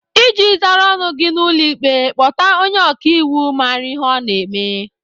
Iji zara ọnụ gị n'ụlọ ikpe, kpọta onye ọkaiwu mara ihe ọ na-eme.